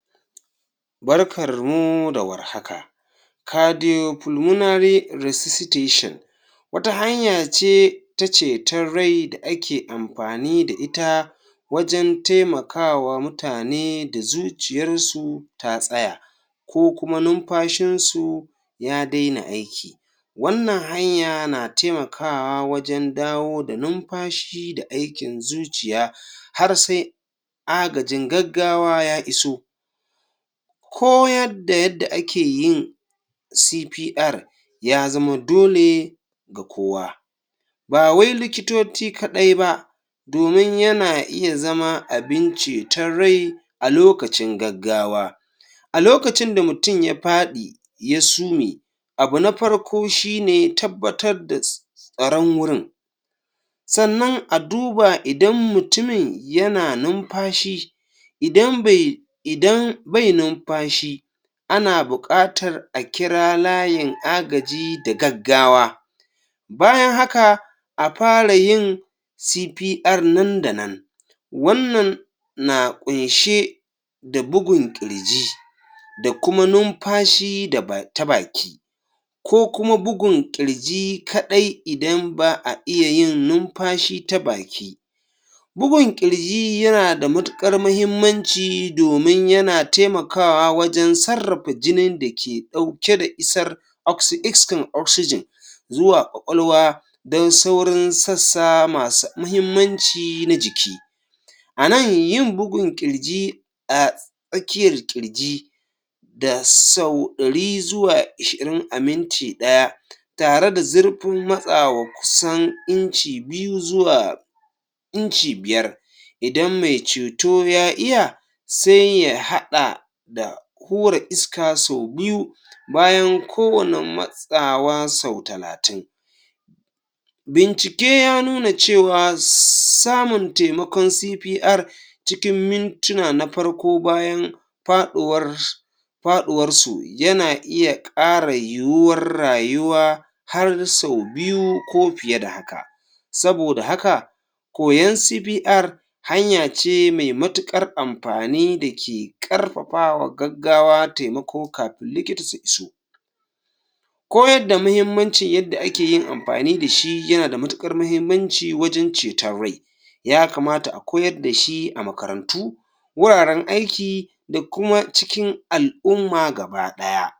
Barkarmu da warhaka cardiopulmonary resuscitation wata hanya ce ta ceton rai da ake ampani da ita wajen temaka wa mutane da zuciyarsu ta tsaya ko kuma numpashinsu ya dena aiki wannan hanya na temakawa wajen dawo da numpashi da aikin zuciya har se agajin gaggawa ya iso koyad da yadda ake yin cpr ya zama dole ga kowa ba wai likitot kaɗai ba domin yana iya zama abin ceton rai a lokacin gaggawa a lokacin da mutum ya paɗi ya sume abu na parko shine tabbatar da tsaron wurin sannan a duba idan mutumin yana numpashi idan be idan bai numpashi ana buƙatar a kira layin agaji da gaggawa bayan haka a para yin cpr nan da nan wannan na ƙunshe da bugun ƙirji da kuma numpashi da ta baki ko kuma bugun ƙirji kaɗai idan ba a iya yin numpashi ta baki bugun ƙirji yana da matuƙar mahimmanci domin yana temakawa wajen sarrapa jinin da ke ɗauke da isar iskar oxygen zuwa ƙwaƙwalwa don sauran sassa masu mahimmanci na jiki a nan yin bugun ƙirji a tsakiyar ƙirji da sau ɗari zuwa ishirin a minti ɗaya tare da zurpin matsa wa kusan inci biyu zuwa inci biyar idan me ceto ya iya se ya haɗa da kore iska so biyu bayan ko wani matsa wa sau talatin bincike ya nuna cewa samun temakon cikin parko bayan paɗuwar paɗuwar su yana iya koyar da shi a makarantu wuraren aiki da kuma cikin al'umma gaba ɗaya.